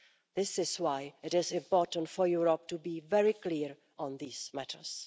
This is why it is important for Europe to be very clear on these matters.